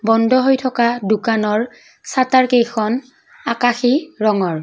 বন্ধ হৈ থকা দোকানৰ শ্বাটাৰকেইখন আকাশী ৰঙৰ।